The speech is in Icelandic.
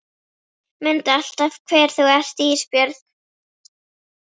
Mundu alltaf hver þú ert Ísbjörg